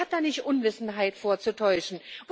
Der hat da nicht Unwissenheit vorzutäuschen.